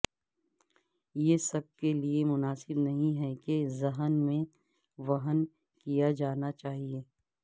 یہ سب کے لئے مناسب نہیں ہے کہ ذہن میں وہن کیا جانا چاہئے